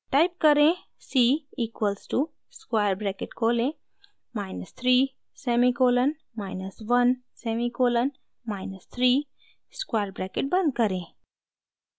type करें: c equals to square bracket खोलें minus 3 semicolon minus 1 semicolon minus 3 square bracket बंद करें